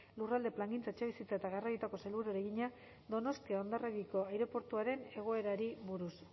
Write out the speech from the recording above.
lurralde plangintza etxebizitza eta garraioetako sailburuari egina donostia hondarribiko aireportuaren egoerari buruz